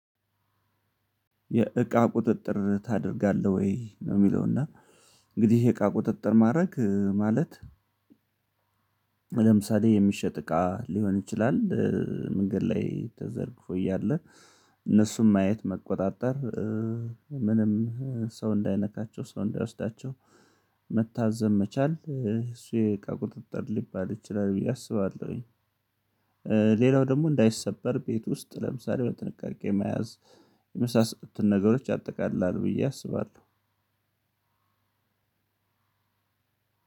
የእቃ ቁጥጥር ታደርጋለህ ወይ ነው የሚለው እና እንግዲህ የእቃ ቁጥጥር ማድረግ ማለት። ለምሳሌ የሚሸጥ እቃ ሊሆን ይችላል። መንገድ ላይ ተዘርግፎ እያለ እነሱን ማየት መቆጣጠር ምንም ሰው እንዳይነካቸው ሰው እንዳይወስዳቸው መታዘብ መቻል እሱ የእቃ ቁጥጥር ሊባል ይችላል ብዬ አስባለሁኝ። ሌላው ደግሞ እንዳይሰበር ቤት ውስጥ ለምሳሌ በጥንቃቄ መያዝ የመሳሰሉትን ነገሮች ያአጠቃልላሉ ብዬ አስባለሁ።